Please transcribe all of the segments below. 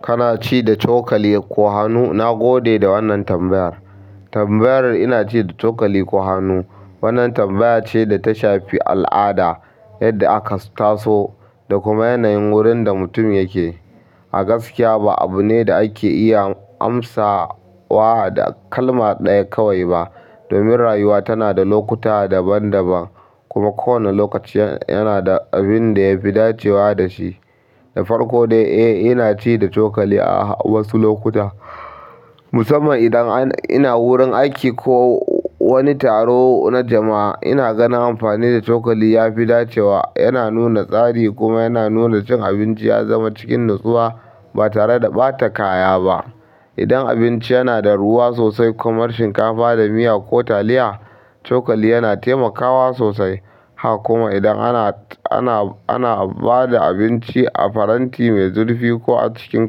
Kana ci da cokali ko hannu? Na gode da wannan tambayar. Tambayar "ina ci da cokali ko hannu?" Wannan tambaya ce da ta shafi al'ada, yadda aka taso da kuma yanayin wurin da mutum yake. A gaskiya ba abu ne da ake iya amsa wa da kalma ɗaya kawai ba. Domin rayuwa tana da lokuta daban-daban kuma kowane lokaci yana da abin da ya fi dacewa da shi. Da farko dai, eh ina ci da cokali a wasu lokuta. Musamman idan ina wurin aiki ko wani taro na jamaa inaganin amfani da cokali yafi dacewa yana nuna tsari kuma yana nuna cin abinci ya zama cikin natsuwa ba tare da ɓata kaya ba. Idan abinci yana da ruwa sosai kamar shinkafa da miya ko taliya, cokali yana taimakawa sosai. Haka kuma idan ana-ana-ana ba da abinci a faranti mai zurfi ko a cikin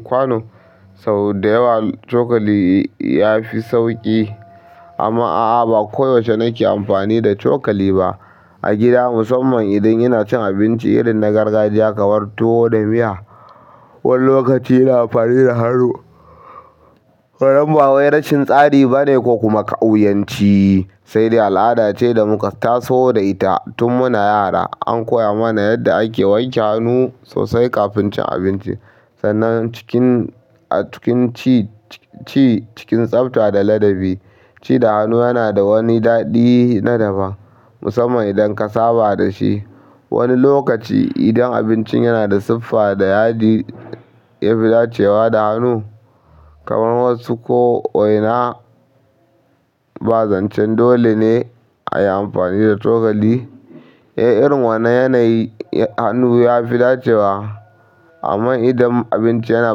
kwano, sau da yawa cokali ya fi sauƙi. Amma a'a ba koyaushe nake amfani da cokali ba. A gida musamman idan yana cin abinci irin na gargajiya kamar tuwo da miya wani lokaci ina amfani da hannu. Wannan ba wai rashin tsari ba ne ko kuma ƙauyanci, sai dai al'ada ce da muka taso da ita. Tun muna yara an koya mana yadda ake wanke hannu sosai kafin cin abinci. Sannan cikin-- a cikin ci cikin tsafta da ladabi. Ci da hannu yana da wani daɗi na daban musamman idan ka saba da shi. Wani lokaci idan abincin yana da siffa da yadi ya fi dacewa da hannu kamar wasu ko'ina ba zancen dole ne a yi amfani da cokali. Eh irin wanna yanayi hannu yafi dacewa amma idan abinci yana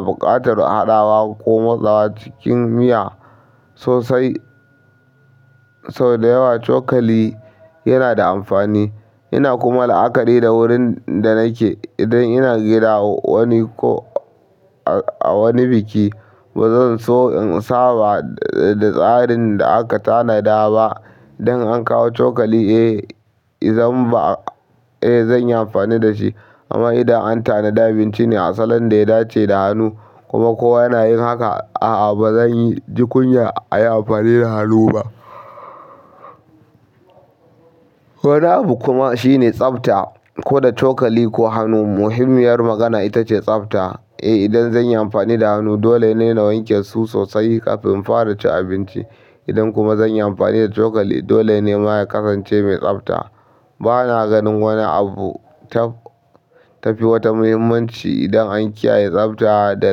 buƙatar haɗawa ko matsawa cikin miya sosai, sau da yawa cokali yana da amfani. Yana kuma la'akari da wurin da nake. Idan ina gida wani ko a wani biki ba zan so in saba da tsarin da aka tanada ba. Idan an kawo cokali eh zan ba-- eh zan yi amfani da shi. Amma idan a tananida abinci a salo da ya dace da hannukuma kowa nayin haka aa bazan yi ji kunyar ayi amfani da hannu ba wani abu kuma shine tsafta. Ko da cokali ko hannu muhimmiyar magana ita ce tsafta. Eh idan zan yi amfani da hannu dole ne na wanke su sosai kafin in fara cin abinci. Idan kuma zan yi amfani da cokali dole ne ma ya kasance mai tsafta. Ba na ganin wani abu ta-tafi wata muhimmanci idan an kiyaye tsafta da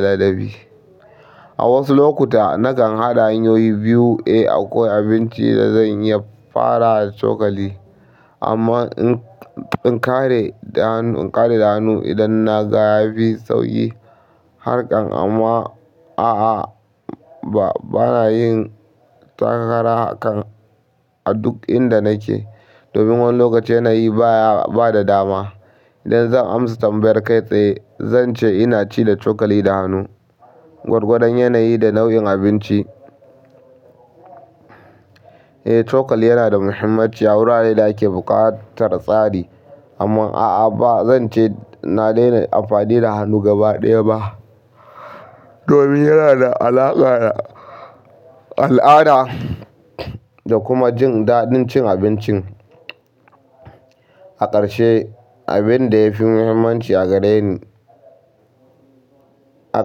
ladabi. A wasu lokuta nakan haɗa hanyoyi biyu. Eh akwai abinci da zan iya fara da cokali amma in-in ƙare da hannu, ƙare da hannu idan na ga ya fi sauƙi. Harkan amma a'a ba na yin takara hakan a duk inda nake. Domin wani lokaci yanayi baya-- ba da dama. Idan zan amsa tambayar kai tsaye zan ce ina ci da cokali da hannu. Gwargwadon yanayi da nau'in abinci. Eh cokali yana da muhimmanci a wuraren da ake buƙatar tsari. Amma a'a ba zan ce na daina amfani da hannu gaba ɗaya ba. Domin yana da alaƙa da al'ada da kuma jin daɗin cin abincin. A ƙarshe abin da ya fi muhimmanci a gare ni-- a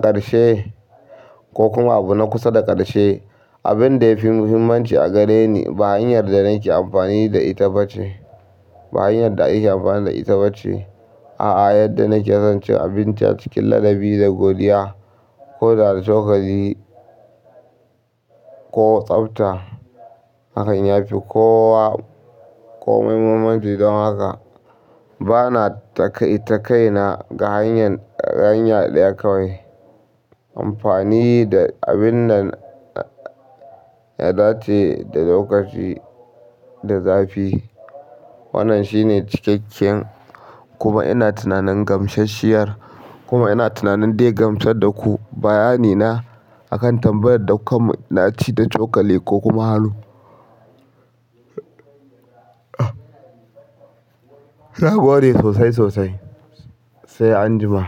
ƙarshe ko kuma abu na kusa da ƙarshe, abin da ya fi muhimmanci a gare ni ba hanyar da nake amfani da ita ba ce. Ba hanyar da ake amfani da ita ba ce. A'a yadda nake son cin abinci a cikin ladabi da godiya ko da da cokali ko tsafta hakan ya fi kowa komai muhimmanci. Don haka ba na taƙaitakaina ga hanya hanya ɗaya kawai. Amfani da abin da ya dace da lokaci da zafi. Wannan shine cikakken kuma ina tunanin gamsasshiyar kuma ina tunanin dai gamsar da ku bayani na akan tambayar da kuka mun. Na ci da cokali ko kuma hannu. Na gode sosai sosai. Sai anjima.